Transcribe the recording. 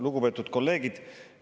Lugupeetud kolleegid!